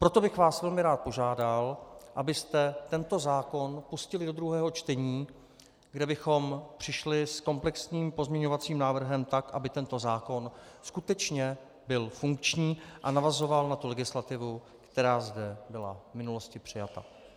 Proto bych vás velmi rád požádal, abyste tento zákon pustili do druhého čtení, kde bychom přišli s komplexním pozměňovacím návrhem tak, aby tento zákon skutečně byl funkční a navazoval na tu legislativu, která zde byla v minulosti přijata.